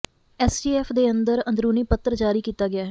STF ਦੇ ਅੰਦਰ ਅੰਦਰੂਨੀ ਪੱਤਰ ਜਾਰੀ ਕੀਤਾ ਗਿਆ ਹੈ